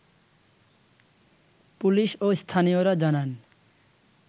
police ও স্থানীয়রা জানান